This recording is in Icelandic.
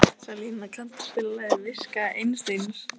Salína, kanntu að spila lagið „Viska Einsteins“?